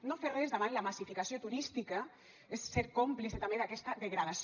no fer res davant la massificació turística és ser còmplice també d’aquesta degradació